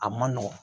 A man nɔgɔn